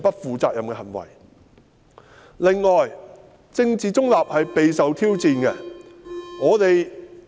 此外，公務員政治中立備受挑戰。